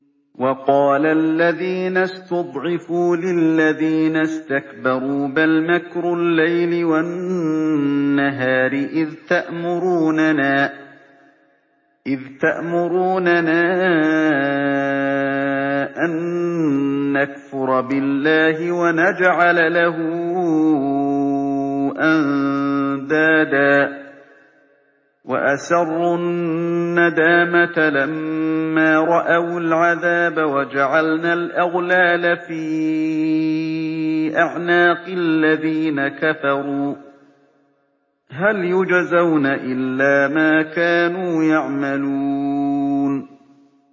وَقَالَ الَّذِينَ اسْتُضْعِفُوا لِلَّذِينَ اسْتَكْبَرُوا بَلْ مَكْرُ اللَّيْلِ وَالنَّهَارِ إِذْ تَأْمُرُونَنَا أَن نَّكْفُرَ بِاللَّهِ وَنَجْعَلَ لَهُ أَندَادًا ۚ وَأَسَرُّوا النَّدَامَةَ لَمَّا رَأَوُا الْعَذَابَ وَجَعَلْنَا الْأَغْلَالَ فِي أَعْنَاقِ الَّذِينَ كَفَرُوا ۚ هَلْ يُجْزَوْنَ إِلَّا مَا كَانُوا يَعْمَلُونَ